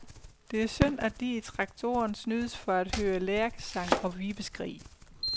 Det er synd, at de, i traktoren, snydes for at høre lærkesang og vibeskrig.